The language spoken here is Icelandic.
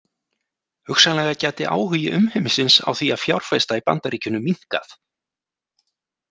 Hugsanlega gæti áhugi umheimsins á því að fjárfesta í Bandaríkjunum minnkað.